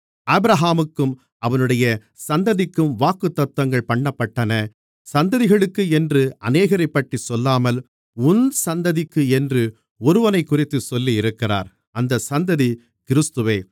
ஆபிரகாமுக்கும் அவனுடைய சந்ததிக்கும் வாக்குத்தத்தங்கள் பண்ணப்பட்டன சந்ததிகளுக்கு என்று அநேகரைப்பற்றிச் சொல்லாமல் உன் சந்ததிக்கு என்று ஒருவனைக்குறித்துச் சொல்லியிருக்கிறார் அந்த சந்ததி கிறிஸ்துவே